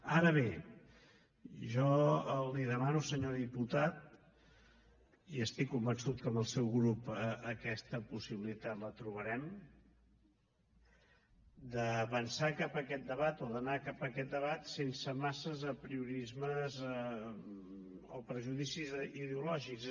ara bé jo li demano senyor diputat i estic convençut que amb el seu grup aquesta possibilitat la trobarem d’avançar cap a aquest debat o d’anar cap a aquest debat sense massa apriorismes o prejudicis ideològics